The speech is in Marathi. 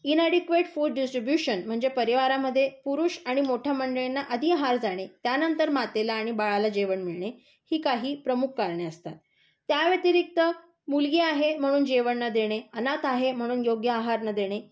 इनअडीकवेट फूड डिस्ट्रिब्युशन म्हणजे परिवारामध्ये पुरुष आणि मोठ्या मंडळींना अधिक आहार जाणे, त्यामध्ये मातेला आणि बाळाला जेवण मिळणे, ही काही प्रमुख कारणे असतात. त्यावतिरिक्त मुलगी आहे म्हणून जेवण न देणे, अनाथ आहे म्हणून योग्य आहार न देणे,